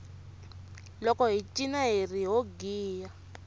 loko hi cina hiri ho giya